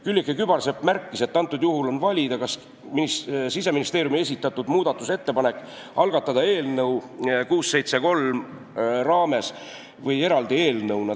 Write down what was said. Külliki Kübarsepp märkis, et antud juhul on valida, kas Siseministeeriumi esitatud muudatusettepanek algatada eelnõu 673 raames või eraldi eelnõuna.